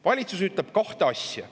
Valitsus ütleb kahte asja.